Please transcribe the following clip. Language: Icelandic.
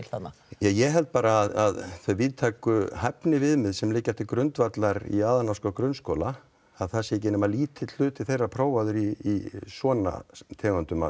ég held bara að þau víðtæku hæfniviðmið sem liggja til grundvallar í aðalnámskrá grunnskóla að það sé ekki nema lítill hluti þeirra prófaður í svona tegundum af